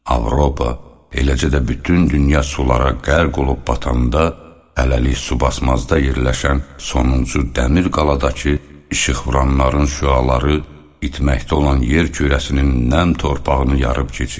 Avropa, eləcə də bütün dünya sulara qərq olub batanda, hələlik su basmazda yerləşən sonuncu dəmir qaladakı işıqvuranların şüaları itməkdə olan yer kürəsinin nəm torpağını yarıb keçdi.